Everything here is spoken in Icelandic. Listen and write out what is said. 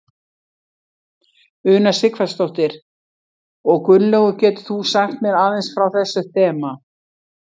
Una Sighvatsdóttir: Og Gunnlaugur getur þú sagt mér aðeins frá þessu þema?